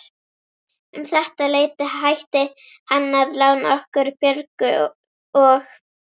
Um þetta leyti hætti hann að lána okkur Björgu og